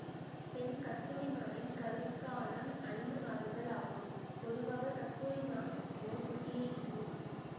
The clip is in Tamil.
பெண் கஸ்தூரி மானின் கருக்காலம் ஐந்து மாதங்கள் ஆகும் பொதுவாக கஸ்தூரிமான் ஒரு குட்டியை ஈனும்